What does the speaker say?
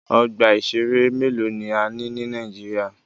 Ọgbà ìṣẹ̀rẹ́ mélòó ni a ní ní Nàíjíríà.